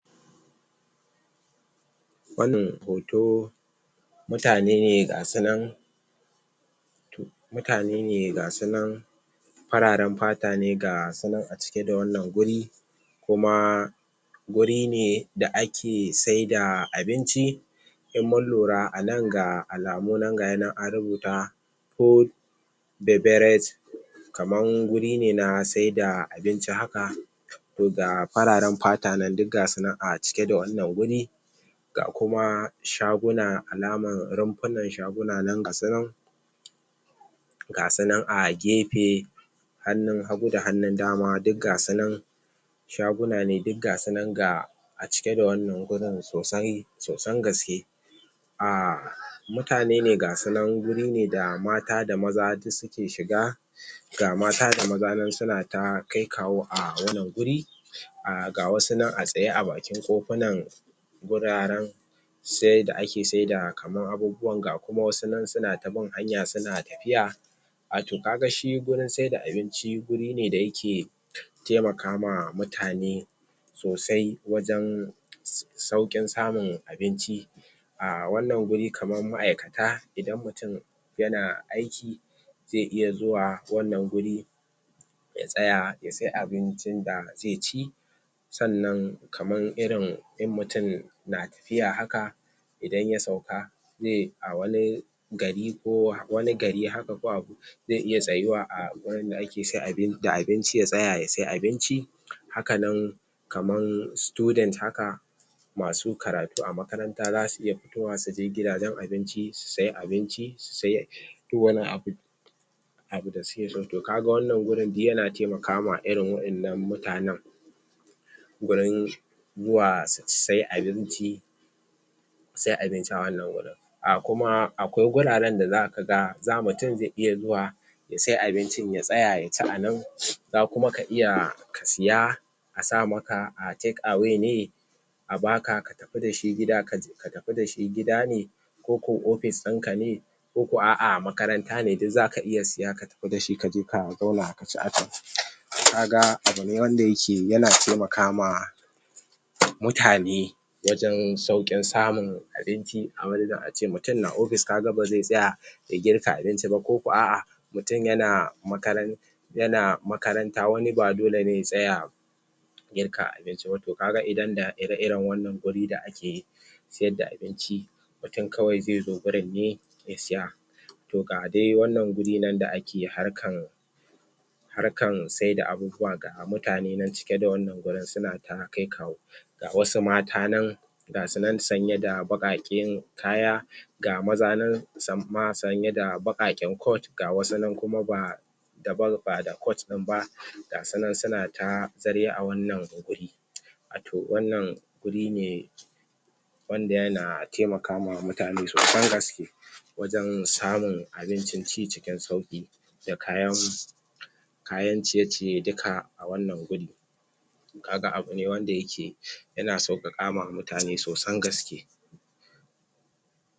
Wannan hoto, mutane ne ga su nan mutane ne ga su nan fararen fata ne ga su nan a cike da wannan guri kuma guri ne da ake sai da abinci in mun lura a nan ga alamu nan an rubuta food beverage kaman wuri na sai da abinci haka to ga fararen fata nan duk gasu nan cike da wannan wurin ga kuma shaguna alaman rumfunan shaguna nan gasunan, gasunan a gefe hannun hagu da hannun dama duk gasunan shaguna ne duk gasu nan ga a cike da wannan gurin sosai sosan gaske. aaa Mutane ne gasunan guri ne mata da maza duk suke shiga ga mata da maza nan suna ta kai kawo a wannan gurin ah ga wassu nan a tsaye a bakin ƙofunan wuraren sai da ake sai da kaman abubuwan ga kuma wassu nan suna ta bin hanyan suna tafiya. Ah to ka ga shi gurin sai da abinci guri ne da ya ke taimaka ma mutane sosai wajen sauƙin samun abinci, ah wannan guri kaman maʼaikata idan mutum yana aiki zai iya zuwa wannan guri ya tsaya ya sai abincin da zai ci sannan kaman irin in mutum na tafiya haka idan ya sauka zai a wani gari ko wani gari haka ko zai iya tsayuwa a gurin da ake sai da abinci ya tsaya ya sai abinci hakanan kaman student haka masu karatu a makaranta za su iya fitowa su je gidajen abinci su sai abinci su sai duk wani abu abincin da suke so to kaga wannan gurin yana taimakama irin wadannan mutanen gurin zuwa su sai abinci su sai abinci a wannan wurin Ah kuma akwai guraren da za ka ga mutum zai iya zuwa ya sai abincin ya tsaya ya ci a nan ko kuma za ka iya ka siya a sa maka a take away ne a baka ka tafi dashi ka tafi da shi gida ne ko ko ofis din ka ne ko aʼa makaranta ne duk za ka iya saye ka je ka zauna ka ci a can, to ka ga abu ne wanda yake yana taimaka ma mutane mutane wajen saukin samun abinci a ce mutum na ofis ka ga ba zai tsaya ya girka abinci ba ko ko aʼa mutum yana makaranta yana makaranta wani ba dole ne ya tsaya ya girka abinci ba to kaga idan da ire iren waannan wuri da ake siyar da abinci mutum kawai zai zo wurin ne ya siya to ga dai irin wannan wuri da ake harkan harkan sai da abubuwa ga mutane nan cike da wannan gurin nan cike da mutane ana ta kai kawo. ga wasu mata nan ga su nan sanye da bakaken kaya ga Maza nan sanye da bakaken coat ga wassu kuma ba daban ba da coat din ba ga su nan suna ta ziryan su a wannan guri Wato wannan guri ne wanda yana taimakawa mutane sosan gaske wajen samar da abinci ci cikin sauƙi da kayan kayan ciye ciye duka a wannan wuri kaga abu ne wanda ya ke yana sauƙaƙa ma mutane sosan gaske.